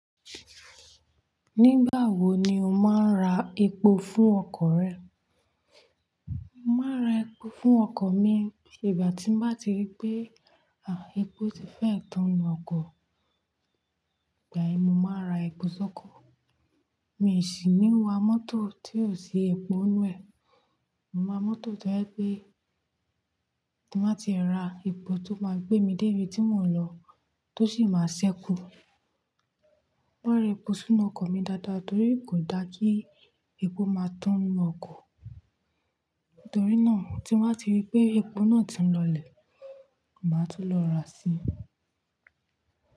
Nígbà wo ni o máa ń ra epo fún ọkọ̀ rẹ? Màá ra epo fún ọkọ̀ mi, ìgbà tí mo bá ti rí pé, à, epo ti fẹ́ tán inú ọkọ̀, ìgbà ẹ, mo máa ra epo sọ́kọ. Mi ò sì ní wa mọ́tò tí ò sí epo inú ẹ̀. Mo wáa mọ́tò tí o je pé, tí mo bá ti ra epo tó máa gbé mi dé ibi tí mò ń lọ, tó sì máa ṣẹ́kù. Màá ra epo sínú ọkọ̀ mi dáadáa torí kò da kí epo máa tán ninú ọkọ̀. Torí náà, tí mo bá ti rí pé epo náà ti ń lọlẹ̀, màá tún lọ ra sí.